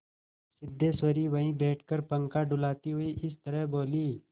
सिद्धेश्वरी वहीं बैठकर पंखा डुलाती हुई इस तरह बोली